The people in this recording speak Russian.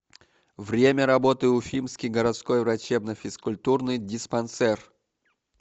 время работы уфимский городской врачебно физкультурный диспансер